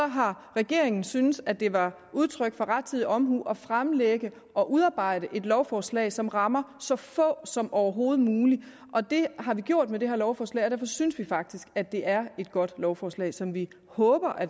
har regeringen syntes at det var udtryk for rettidig omhu at fremlægge og udarbejde et lovforslag som rammer så få som overhovedet muligt det er gjort med det her lovforslag og derfor synes vi faktisk at det er et godt lovforslag som vi håber